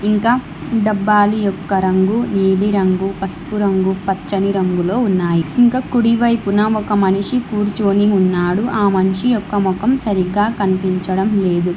ఇంకా డబ్బాలు యొక్క రంగు నీలిరంగు పసుపు రంగు పచ్చని రంగులో ఉన్నాయి. ఇంకా కుడివైపున ఒక మనిషి కూర్చొని ఉన్నాడు. ఆ మనిషి యొక్క మొఖం సరిగ్గా కనిపించడం లేదు.